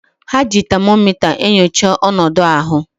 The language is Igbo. Ha ji tamomita enyocha onodu ahu.